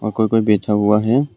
और कोई कोई बैठा हुआ है।